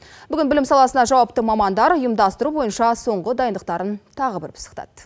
бүгін білім саласына жауапты мамандар ұйымдастыру бойынша соңғы дайындықтарын тағы бір пысықтады